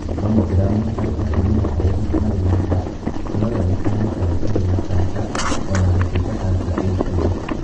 Mamogram harĩ atumia arĩa marĩ na nda no yoneke ta gũtarĩ na kanca o na gũtuika kanca ĩkuo.